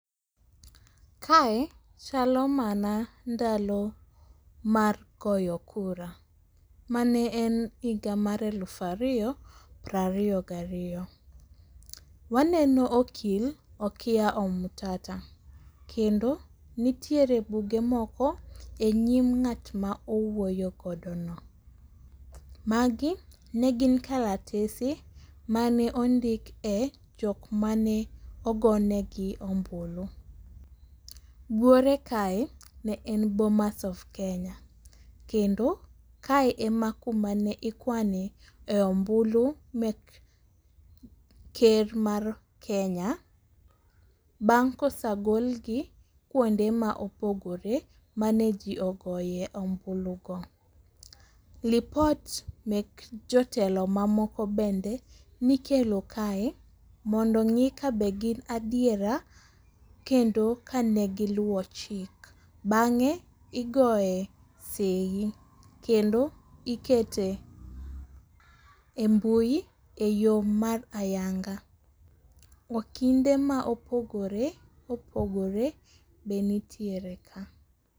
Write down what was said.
Kae chalo mana ndalo mar goyo kura. Mane en higa mar elufu ariyo piero ariyo gi ariyo. Waneno okil Okiya Omtata. Kendo nitiere buge moko e nyim ng'at ma owuoyo godo no. Magi negin kalatese mane ondik e jok mane ogonegi ombulu. Buore kae ne en Bomas of Kenya. Kendo kae ema kuma ne ikwane e ombulu mek ker mar Kenya. Bang' kosegol gi kuonde ma opogore mane ji ogoye ombulu go. Lipot mek jotelo mamoko bende nikelo kae mondo ong'i kabe gin adiera kendo kane giluwo chik. Bang'e igoye seyi kendo ikete e mbui e yo mar ayanga. Okinde ma opogore opogore be nitiere ka.